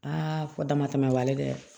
fɔ damatɛmɛ b'a la dɛ